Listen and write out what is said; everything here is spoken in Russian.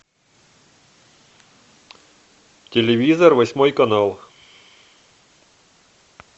телевизор восьмой канал